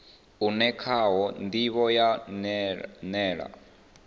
une khawo ndivho ya nila